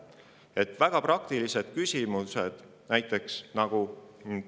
[Peaksime veel ees ootavateks kliimamuutusteks juba täna valmistuma, et kahjulikke mõjusid vähendada.